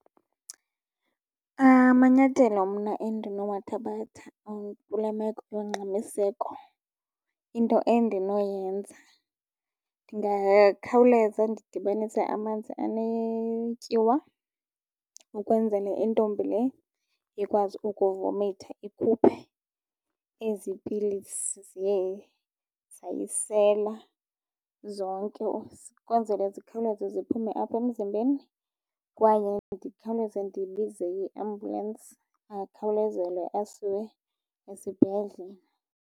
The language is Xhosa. Amanyathelo mna endinowathabatha kule meko yongxamiseko into endinoyenza, ndingakhawuleza ndidibanise amanzi anetyiwa ukwenzele intombi le ikwazi ukumivomitha ikhuphe ezi pilisi ziye zayisela zonke. Ukwenzele zikhawuleze ziphume apha emzimbeni kwaye ndikhawuleze ndibize iambulensi akhawulezelwe asiwe esibhedlele.